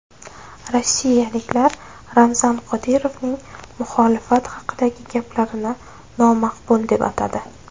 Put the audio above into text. Rossiyaliklar Ramzan Qodirovning muxolifat haqidagi gaplarini nomaqbul deb atadi .